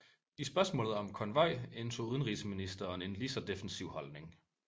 I spørgsmålet om konvoj indtog udenrigsministeren en lige så defensiv holdning